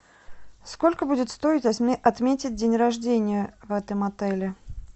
сколько будет стоить отметить день рождения в этом отеле